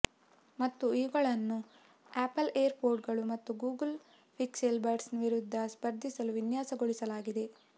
ಮತ್ತು ಇವುಗಳನ್ನು Apple Air ಪೊಡ್ಗಳು ಮತ್ತು ಗೂಗಲ್ ಪಿಕ್ಸೆಲ್ ಬಡ್ಸ್ನ ವಿರುದ್ಧ ಸ್ಪರ್ಧಿಸಲು ವಿನ್ಯಾಸಗೊಳಿಸಲಾಗಿದೆ